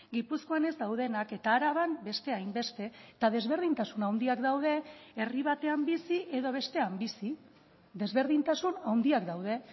gipuzkoan ez daudenak eta araban beste hainbeste eta desberdintasun handiak daude herri batean bizi edo bestean bizi desberdintasun handiak daude